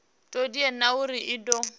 todea na uri i do